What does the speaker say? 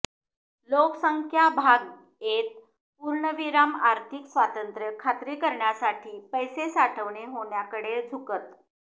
लोकसंख्या भाग येत पूर्णविराम आर्थिक स्वातंत्र्य खात्री करण्यासाठी पैसे साठवणे होण्याकडे झुकत